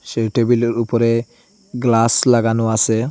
সেই টেবিলের উপরে গ্লাস লাগানো আসে।